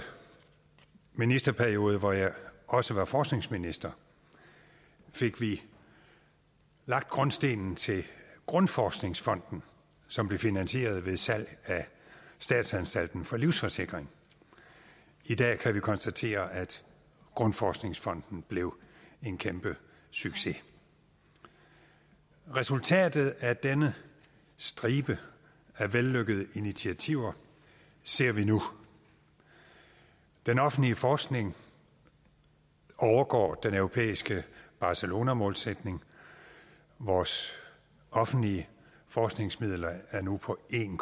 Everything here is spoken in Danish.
ministerperiode hvor jeg også var forskningsminister fik vi lagt grundstenen til grundforskningsfonden som blev finansieret ved salg af statsanstalten for livsforsikring i dag kan vi konstatere at grundforskningsfonden blev en kæmpe succes resultatet af denne stribe af vellykkede initiativer ser vi nu den offentlige forskning overgår den europæiske barcelonamålsætning vores offentlige forskningsmidler er nu på en